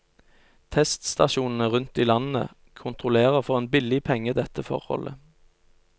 Teststasjonene rundt i landet kontrollerer for en billig penge dette forholdet.